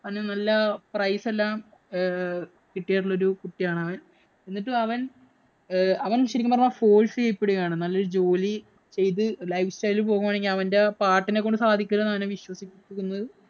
അവന് നല്ല prize എല്ലാം ഏർ കിട്ടിയിട്ടുള്ള ഒരു കുട്ടിയാണ് അവന്‍. എന്നിട്ടും അവന്‍ ഏർ അവന്‍ ശരിക്കും പറഞ്ഞാ force ചെയ്യപ്പെടുകയാണ്. നല്ല ഒരു ജോലി ചെയ്ത് life style പോവുകയാണെ അവന്‍റെ പാട്ടിനെ കൊണ്ട് സാധിക്കുന്നില്ലെന്ന് ആണ് അവനെ വിശ്വസിപ്പിക്കുന്നത്.